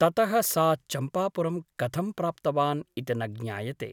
ततः सः चम्पापुरं कथं प्राप्तवान् इति न ज्ञायते ।